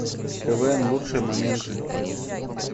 квн лучшие моменты